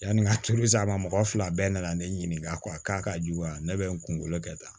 Yanni n ka tulu san ma mɔgɔ fila bɛɛ nana ne ɲininka k'a ka jugu wa ne be n kunkolo kɛ tan